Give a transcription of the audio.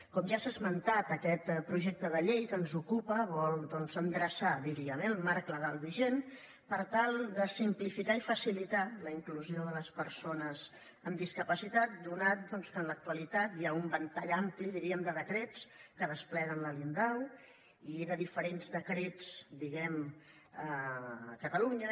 com ja s’ha esmentat aquest projecte de llei que ens ocupa vol endreçar diríem eh el marc legal vigent per tal de simplificar i facilitar la inclusió de les persones amb discapacitat ja que en l’actualitat hi ha un ventall ampli diríem de decrets que despleguen la liondau i de diferents decrets a catalunya